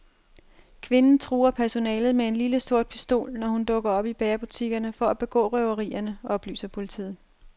Kvinden truer personalet med en lille, sort pistol, når hun dukker op i bagerbutikkerne for at begå røverierne, oplyser politiet.